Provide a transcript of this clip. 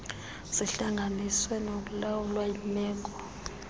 zihlanganiswe ngokulawulwa yimeko